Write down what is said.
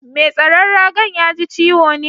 Mai tsaron raga'n ya ji ciwo ne?